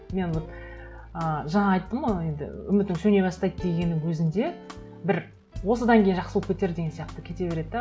мен ы жаңа айттым ғой енді үмітің сөне бастайды дегеннің өзінде бір осыдан кейін жақсы болып кетер деген сияқты кете береді де